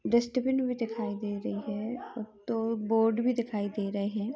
Dustbin भी दिखाई दे रही हैं और दो बोर्ड भी दिखाई दे रहे हैं।